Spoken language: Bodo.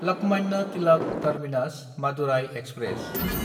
लकमान्य तिलाक टार्मिनास–मादुराय एक्सप्रेस